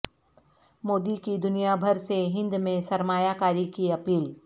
مودی کی دنیا بھر سے ہند میں سرمایہ کاری کی اپیل